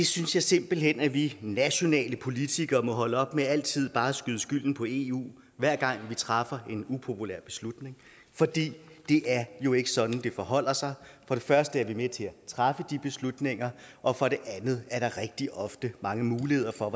synes simpelt hen at vi nationale politikere må holde op med altid bare at skyde skylden på eu hver gang vi træffer en upopulær beslutning for det er jo ikke sådan det forholder sig for det første er vi med til at træffe de beslutninger og for det andet er der rigtig ofte mange muligheder for